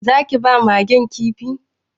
Za ki ba Magen Kifi?